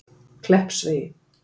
Kleppsvegi